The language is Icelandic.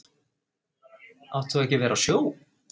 Átt þú ekki að vera á sjó?